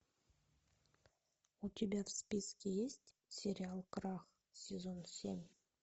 у тебя в списке есть сериал крах сезон семь